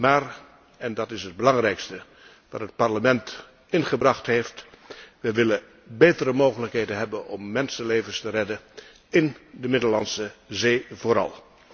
Maar en dat is het belangrijkste dat het Parlement ingebracht heeft we willen betere mogelijkheden hebben om mensenlevens te redden, in de Middellandse Zee vooral.